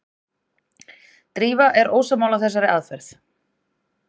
Drífa er ósammála þessari aðferð.